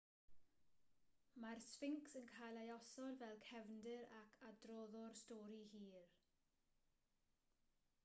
mae'r sffincs yn cael ei osod fel cefndir ac adroddwr stori hir